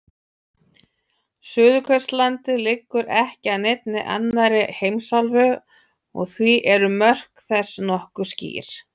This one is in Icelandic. Suðurskautslandið liggur ekki að neinni annarri heimsálfu og því eru mörk þess nokkuð skýr.